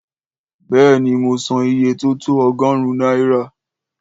Béèni, mo san iye tó tó ọgọ́rún náírà